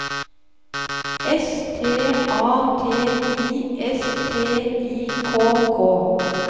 S T A T I S T I K K